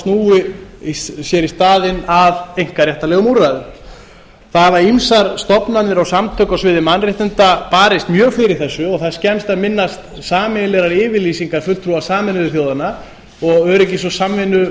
og snúi sér í staðinn að einkaréttarlegum úrræðum það hafa ýmsar stofnanir og samtök á sviði mannréttinda barist mjög fyrir þessu og það er skemmst að minnast sameiginlegrar yfirlýsingar fulltrúa sameinuðu þjóðanna og öryggisráðs og